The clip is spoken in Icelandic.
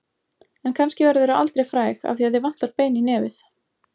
En kannski verðurðu aldrei fræg af því að þig vantar bein í nefið.